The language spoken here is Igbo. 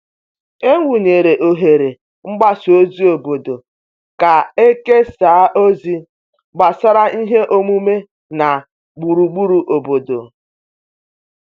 E wụnyere oghere mgbasa ozi obodo ka e kesaa ozi gbasara ihe omume na gburugburu obodo.